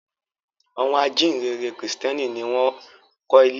Àwọn ajíǹrere Kìrìtẹ́ẹ́nì ni ó kọ́ ilé-ìwé àkọ́kọ́ ní Nàìjíríà.